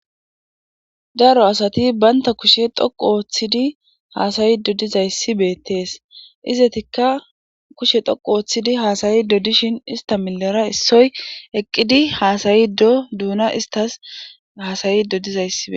daro asati baynta kushe dhoqu ooththidi haasayido dizayssi beettees izatikka kushe dhoqu ooththidi haasayido dishin ista milara issoy eqqidi haasayi do duuna istas hasayido dizaysi beettes